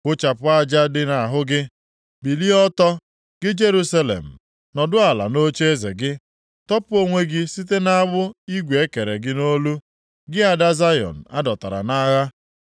Kụchapụ aja dị nʼahụ gị, bilie ọtọ, gị Jerusalem, nọdụ ala nʼocheeze gị. Tọpụ onwe gị site nʼagbụ igwe e kere gị nʼolu, gị ada Zayọn, a dọtara nʼagha.